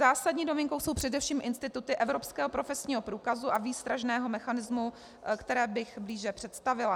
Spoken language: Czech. Zásadní novinkou jsou především instituty evropského profesního průkazu a výstražného mechanismu, které bych blíže představila.